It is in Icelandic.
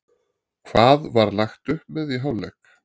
Hvað var lagt upp með í hálfleik?